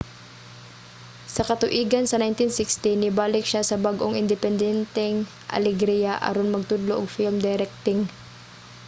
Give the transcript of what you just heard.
sa katuigan sa 1960 nibalik siya sa bag-ong independenteng alegria aron magtudlo og film directing